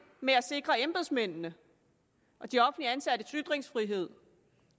med at sikre embedsmændenes og de offentligt ansattes ytringsfrihed